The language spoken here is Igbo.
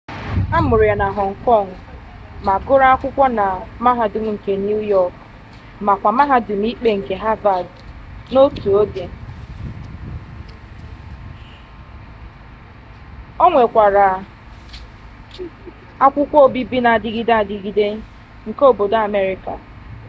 a mụrụ ya na họng kọng ma gụrụ akwụkwọ na mahadum nke niu yọk makwa mahadum ikpe nke havad n'otu oge o nwekwara akwukwo obibi na-adigide adigide nke obodo amerịka